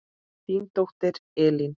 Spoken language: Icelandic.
Þín dóttir Elín.